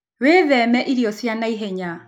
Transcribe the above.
Wĩtheme irio cia naĩhenya